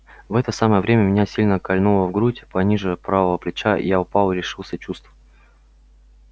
в это самое время меня сильно кольнуло в грудь пониже правого плеча я упал и лишился чувств